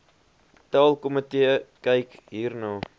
taalkomitee kyk hierna